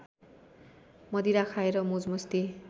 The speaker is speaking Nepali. मदिरा खाएर मोजमस्ती